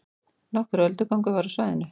Nokkur öldugangur var á svæðinu